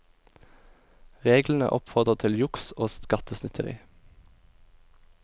Reglene oppfordrer til juks og skattesnyteri.